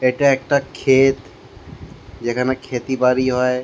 এটা একটা ক্ষেত। যেখানে ক্ষেতি বাড়ি হয়।